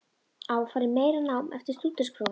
Á að fara í meira nám eftir stúdentsprófið?